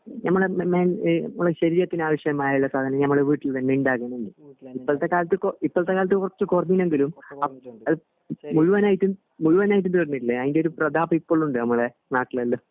ഞമ്മളെ ഞമ്മളെ ശരീരത്തിന് ആവിശ്യമായുള്ള സാധനങ്ങൾ ഞമ്മളെ വീട്ടിൽ തന്നെ ഇണ്ടാകുന്നുണ്ട് ഇപ്പോഴത്തെ കാലത്ത് ഇപ്പോഴത്തെ കാലത്ത് കൊറച്ച് കൊറഞ്ഞെങ്കിലും അത് മുഴുവനായിട്ടും മുഴുവനായിട്ടും തീർന്നിട്ടില്ല അതിൻ്റെ ഒരു പ്രതാപം ഇപ്പോഴും ഉണ്ട് നമ്മുടെ നാട്ടിലെല്ലാം